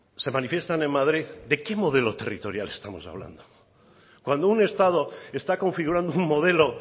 se manifiestan en madrid de qué modelo territorial estamos hablando cuando un estado está configurando un modelo